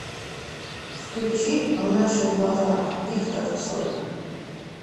включи в наших глазах виктор цой